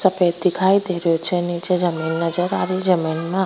सफेद दिखाई देरी छे निचे जमीं नजर आरी जमीं न --